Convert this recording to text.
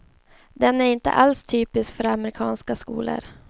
Den är alls inte typisk för amerikanska skolor.